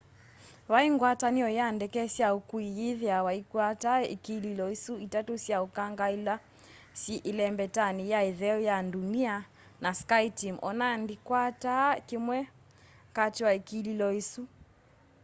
vai ngwatanio ya ndeke sya ukui yithiawa iikwata ikililo isu itatu sya ukanga ila syi ilembetani ya itheo ya ndunia na skyteam ona ndikwataa kimwe kati wa ikililo isu